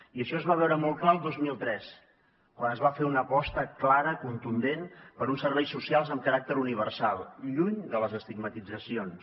i això es va veure molt clar el dos mil tres quan es va fer una aposta clara contundent per uns serveis socials amb caràcter universal lluny de les estigmatitzacions